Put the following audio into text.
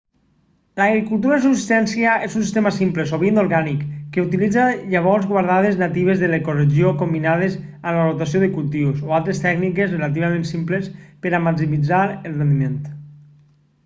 l'agricultura de subsistència és un sistema simple sovint orgànic que utilitza llavors guardades natives de l'ecoregió combinades amb la rotació de cultius o altres tècniques relativament simples per a maximitzar el rendiment